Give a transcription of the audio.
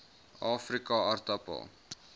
afrikaaartappel